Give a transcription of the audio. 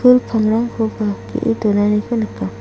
pul pangrangkoba ge·e donaniko nika.